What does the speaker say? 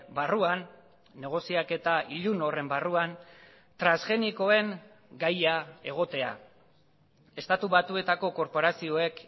barruan negoziaketa ilun horren barruan transgenikoen gaia egotea estatu batuetako korporazioek